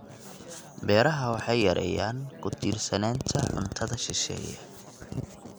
Beeraha Beeraha waxay yareeyaan ku tiirsanaanta cuntada shisheeye.